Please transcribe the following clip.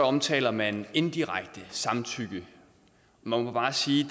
omtaler man indirekte samtykke man må bare sige